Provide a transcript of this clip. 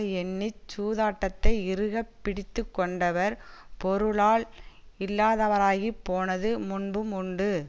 எண்ணி சூதாட்டத்தை இறுகப் பிடித்து கொண்டவர் பொருளால் இல்லாதவராகிப் போனது முன்பும் உண்டு